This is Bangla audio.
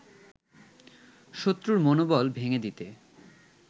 শত্রুর মনোবল ভেঙে দিতে